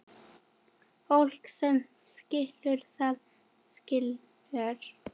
Fólk sem skilur, það skilur.